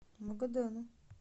магадану